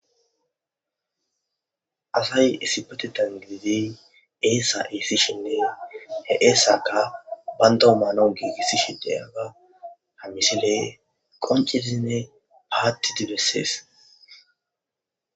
asay issi pate tangilidey eessa iissi sheneeya he eesaka bandoomana giigisi sheteyaga hamisile qoncezinne paati di bessees